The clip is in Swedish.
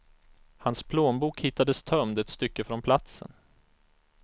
Hans plånbok hittades tömd ett stycke från platsen.